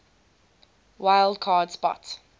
wild card spot